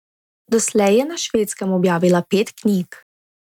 Doslej je na Švedskem objavila pet knjig.